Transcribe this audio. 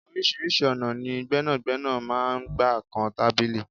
Oríṣiríṣi ọ̀nà ni gbẹ́nàgbẹ́nà máa ń gbà kan tábìlì.